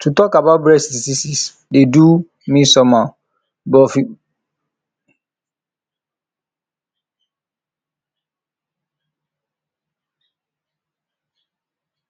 to talk about breast diseases dey do um me somehow before but um true true e no dey hard anymore